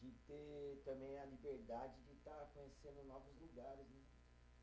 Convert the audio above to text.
a liberdade de estar conhecendo novos lugares.